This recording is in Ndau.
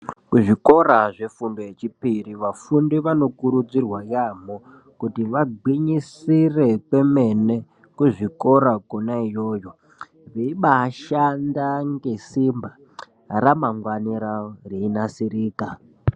Ku zvikora zvefundo ye chipiri vafundi vano kurudzirwa yamho kuti va gwinyisire kwemene ku zvikora kona iyoyo vei bai shanda nge simba ra mangwani ravo rei nasirika.